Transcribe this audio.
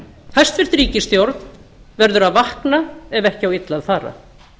hæstvirt ríkisstjórn verður að vakna ef ekki á illa að fara